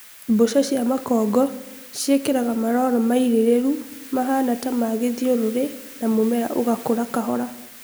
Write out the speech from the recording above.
Mbũca cia makongo ciĩkiraga malolo mailĩlĩlu mahana ta ma gĩthiũrũri na mũmera ũgakũra kahola